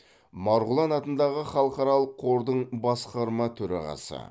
марғұлан атындағы халықаралық қордың басқарма төрағасы